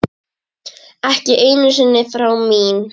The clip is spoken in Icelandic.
Ekki einu sinni þrá mín.